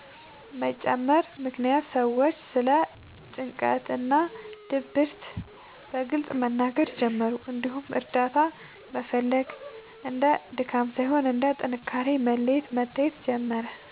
መጨመር ምክንያት ሰዎች ስለ ጭንቀት እና ድብርት በግልጽ መናገር ጀመሩ፣ እንዲሁም እርዳታ መፈለግ እንደ ድካም ሳይሆን እንደ ጥንካሬ መለያ መታየት ጀመረ።